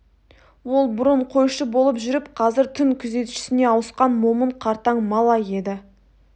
ол бұрын қойшы болып жүріп қазір түн күзетшісіне ауысқан момын қартаң малай еді